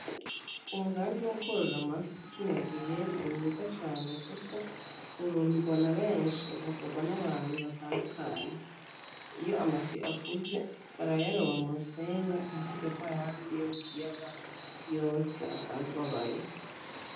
Umugambi wo korora amafi kino gihe ni mwiza cane kuko uronderwa na beshi ugakorwa n'abantu batandukanye iyo amafi akuze barayaroba mu rusenga nka kurya kw'ayandi yo mu kiyaga yose asanzwe abayo.